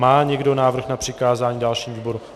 Má někdo návrh na přikázání dalšímu výboru?